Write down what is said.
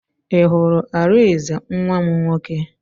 I hụrụ Arinze nwa m nwoke?